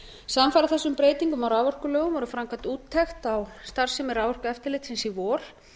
samfara þessum breytingum á raforkulögum var framkvæmd úttekt á starfsemi r aforkueftirltisins í vor